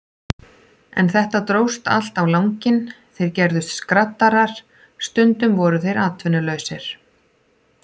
En þetta dróst allt á langinn, þeir gerðust skraddarar, stundum voru þeir atvinnulausir.